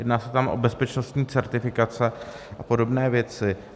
Jedná se tam o bezpečnostní certifikace a podobné věci.